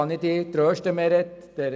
Da kann ich Sie trösten, Frau Schindler: